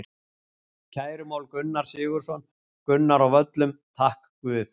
Kærumál Gunnar Sigurðarson, Gunnar á Völlum: Takk guð.